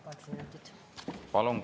Palun!